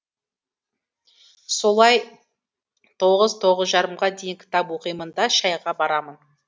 солай тоғыз тоғыз жарымға дейін кітап оқимын да шәйға барамын